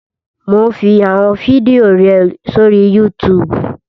Mò ún fi àwọn fídíò rẹ sórí Yútùùbù